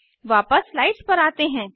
वापस स्लाइड्स पर आते हैं